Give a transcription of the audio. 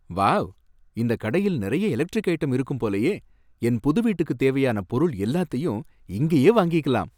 Wow! இந்த கடையில் நிறைய எலெக்ட்ரிக் ஐட்டம் இருக்கும் போலயே, என் புது வீட்டுக்கு தேவையான பொருள் எல்லாத்தயும் இங்கேயே வாங்கிக்கலாம்